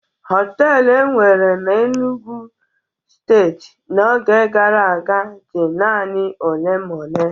Họtelu enwere na Enugwu Steeti n'oge gara aga dị naanị ole ma ole.